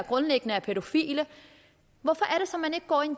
grundlæggende er pædofile hvorfor er det så man ikke går ind